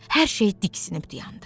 Hər şey diksinib dayandı.